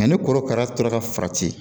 Nka ni korokara tora ka farati